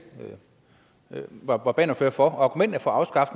var bannerfører for argumentet for